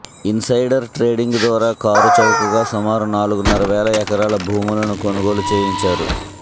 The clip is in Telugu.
ఇన్సైడర్ ట్రేడింగ్ ద్వారా కారు చౌకగా సుమారు నాలుగున్నర వేల ఎకరాల భూములను కొనుగోలు చేయించారు